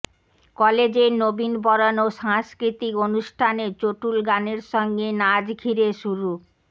কলেজের নবীন বরণ ও সাংস্কৃতিক অনুষ্ঠানে চটুল গানের সঙ্গে নাচ ঘিরে শুরু